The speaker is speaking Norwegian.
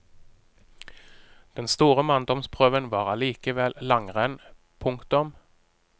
Den store manndomsprøven var allikevel langrenn. punktum